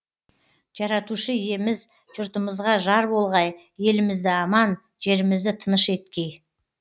жаратушы иеміз жұртымызға жар болғай елімізді аман жерімізді тыныш еткей